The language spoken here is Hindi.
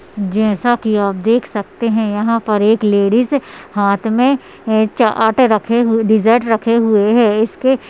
जैसा कि आप देख सकते हैं यहाँ पर एक लेडीज हाथ में चा-आटे रखे हुए डिजर्ट रखे हुए है इसके --